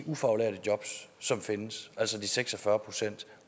ufaglærte jobs som findes altså de seks og fyrre procent